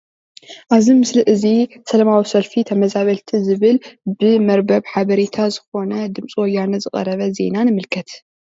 ኣብዚ ምስሊ እዚ ሰላማዊ ሰልፊ ተመዛበልቲ ዝብል ብመርበብ ሓበሬታ ዝኮነ ድምፂ ወያነ ዝቀረብ ዜና ንምልከት ።